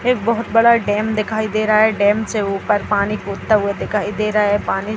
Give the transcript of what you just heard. एक बहोत बढ़ा डैम दिखाई दे रहा है डैम से ऊपर पानी कूदता हुआ दिखाई दे रहा है पानी --